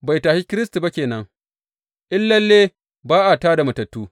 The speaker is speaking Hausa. Bai tashe Kiristi ba ke nan, in lalle ba a tā da matattu.